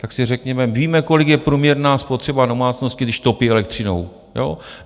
Tak si řekněme, víme, kolik je průměrná spotřeba domácnosti, když topí elektřinou, jo?